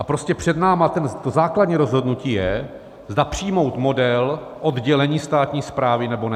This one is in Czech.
A prostě před námi to základní rozhodnutí je, zda přijmout model oddělení státní správy, nebo ne.